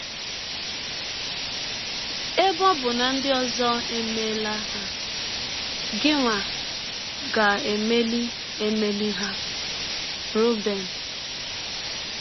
Ebe ọ bụ na ndị ọzọ emeela ha, gịnwa ga - emeli - emeli ha. ”— Roben.